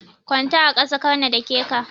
Kwanta a ƙasa karna dake ka.